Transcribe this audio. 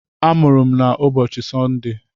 A mụrụ m na ụbọchị Sọnde.